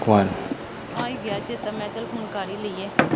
ਆਹ ਗਿਆ ਚੇਤਾ, ਮੈਂ ਕਿਹਾ ਚਲ ਫੋਨ ਕਰ ਹੀ ਲਈਏ।